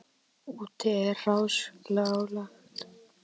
Úti er hráslagalegt.